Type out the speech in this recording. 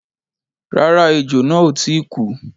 Rárá, ẹjò náà ò tíì kú.